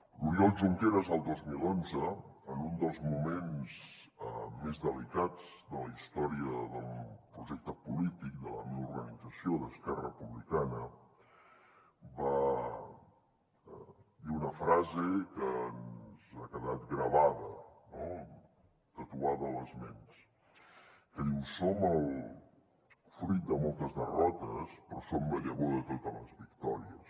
l’oriol junqueras el dos mil onze en un dels moments més delicats de la història del projecte polític de la meva organització d’esquerra republicana va dir una frase que ens ha quedat gravada no tatuada a les ments que diu som el fruit de moltes derrotes però som la llavor de totes les victòries